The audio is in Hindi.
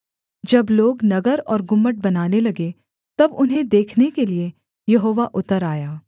जब लोग नगर और गुम्मट बनाने लगे तब उन्हें देखने के लिये यहोवा उतर आया